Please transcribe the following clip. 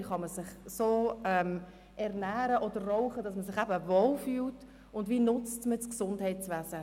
Wie kann man sich so ernähren oder rauchen, dass man sich damit wohlfühlt, und wie nutzt man das Gesundheitswesen?